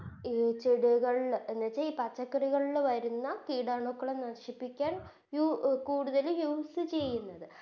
ചിടുകൾ എന്നിട്ട് ഈ പച്ചക്കറികളില് വരുന്ന കീടാണുക്കളെ നശിപ്പിക്കാൻ യു കൂടുതലും Use ചെയുന്നത്